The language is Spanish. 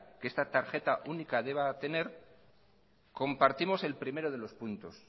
que esta tarjeta única deba tener compartimos el primero de los puntos